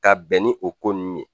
Ka bɛn ni o ko nun ye